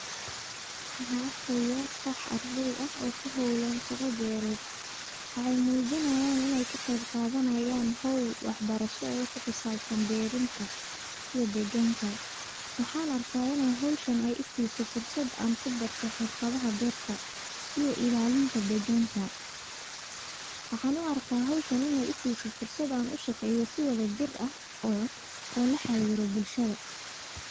Waxan arkaya kox ardey ah oo kuhowlan shaqa beered waxay muujinayan inay ka qeb qadanayan howl wax barashada kuxisabsan beerinta iyo deegganka waxan arka howshan in ay I siso fursad ankubarto xirfadaha beerta iyo illalinta deegganka ,waxan u arka howshan in ay I sise fursad an u shaqeeyo si wada jir ah oo la xariro bulshada